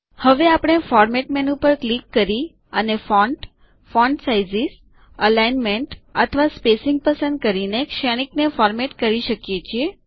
હવે આપણે format menu પર ક્લિક કરી અને ફોન્ટ ફોન્ટ સાઇઝ્સ એલિગ્નમેન્ટ અથવા સ્પેસિંગ પસંદ કરીને શ્રેણિક ને ફોરમેટ કરી શકીએ છીએ